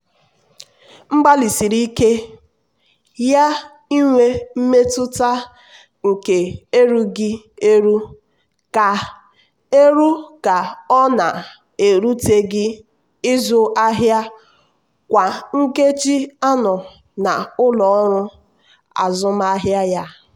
mgbalịsiri ike ya inwe mmetụta nke erughị eru ka eru ka ọ na-eruteghị ịzụ ahịa kwa nkeji anọ n'ụlọ ọrụ azụmahịa ya.